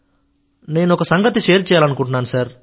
నేను ఒక సంగతి షేర్ చేయాలనుకుంటున్నాను